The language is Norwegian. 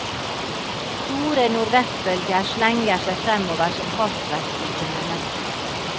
Store nordvestbølger slenger seg fremover som hastverksfylte mennesker.